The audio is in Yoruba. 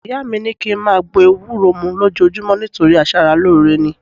Ìyá mi ni ki n máa gbó ewúro mú lójoojúmọ́ nítorí aṣaralóore ni